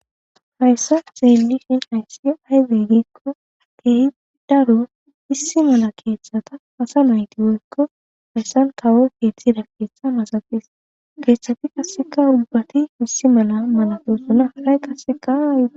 hayssa xeelishin hayssi aydey giikko akehi daro issi mala keeththata asa nayti woykko hayssan kawo keexida keeththa masaxis keeththati kasseka ubbati issi mala malatosona haray qasseka